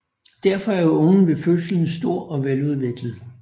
Derfor er ungen ved fødslen stor og veludviklet